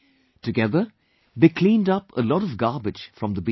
Together they cleaned up a lot of garbage from the beach